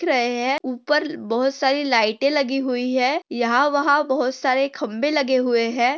रहे है। उपर बहोत सारी लाईटे लगी हुई है। यहा वहा बहोत सारे खंबे लगे हुए है।